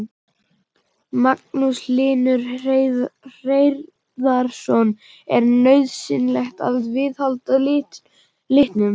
Magnús Hlynur Hreiðarsson: Er nauðsynlegt að viðhalda litunum?